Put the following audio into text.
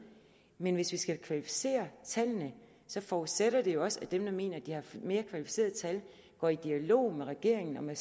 men hvis vi skal kvalificere tallene forudsætter det jo også at dem der mener at de har mere kvalificerede tal går i dialog med regeringen og med